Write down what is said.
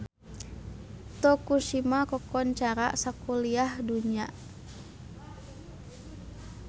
Tokushima kakoncara sakuliah dunya